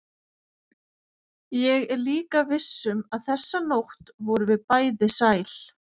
Ég er líka viss um að þessa nótt vorum við bæði sæl.